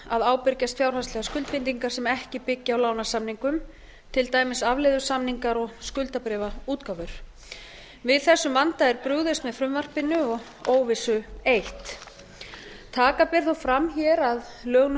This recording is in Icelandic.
að ábyrgjast fjárhagslegar skuldbindingar sem ekki byggja á lánasamningum til dæmis afleiðusamninga og skuldabréfaútgáfur við þessum vanda er brugðist með frumvarpinu og óvissu eytt taka ber þó fram hér að lög